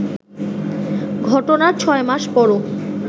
ঘটনার ছয় মাস পরও